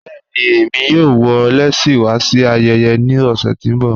Bẹ̀ẹ̀ni, èmi yóò wọ̀ lẹ́sí wa sí ayẹyẹ ní ọṣẹ̀ tí n bọ̀.